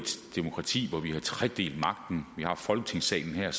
demokrati hvor vi har tredelt magten vi har folketingssalen her